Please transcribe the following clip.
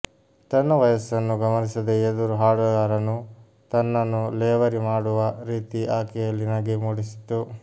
ತನ್ನ ವಯಸ್ಸನ್ನು ಗಮನಿಸದೇ ಎದುರು ಹಾಡುಗಾರನು ತನ್ನನ್ನು ಲೇವರಿ ಮಾಡುವ ರೀತಿ ಆಕೆಯಲ್ಲಿ ನಗೆ ಮೂಡಿಸಿತ್ತು